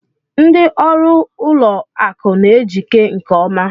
Ndị ọrụ ụlọ akụ n'ejike nke ọma.